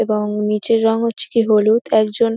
এবং নিচের রং হচ্ছে গিয়ে হলুদ একজন--